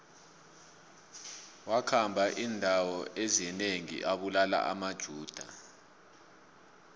wakhamba indawo ezinengi abulala amajuda